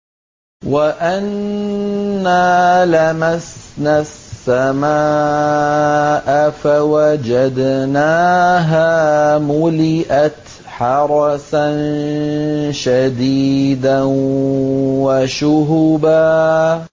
وَأَنَّا لَمَسْنَا السَّمَاءَ فَوَجَدْنَاهَا مُلِئَتْ حَرَسًا شَدِيدًا وَشُهُبًا